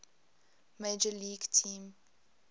major league team